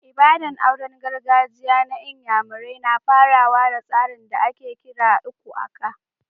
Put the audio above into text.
Ibada'n auren gargajiya na n'yamarai na farawa da tsarin da ake kira "lku aka."